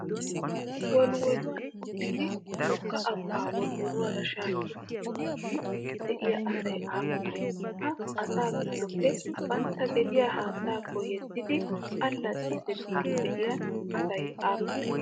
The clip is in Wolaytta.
Wolwoluwan uttidi wogga abbaa wolwoluwaara shaakkidi pinniddi de'iyaa asayi aappunee? ha asaa giddoppe bantta gediyaa haattaakko yeddidi allaxxiiddi biiddi de'iyaa asay aappunee?